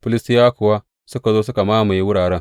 Filistiyawa kuwa suka zo suka mamaye wuraren.